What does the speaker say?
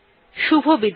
শুভবিদায়